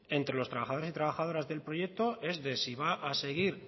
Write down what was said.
entre los trabajadores y trabajadoras del proyectos es de si va a seguir